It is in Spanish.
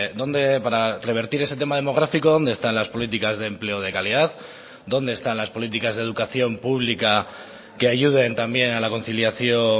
donde para revertir ese tema demográfico dónde están las políticas de empleo de calidad dónde están las políticas de educación pública que ayuden también a la conciliación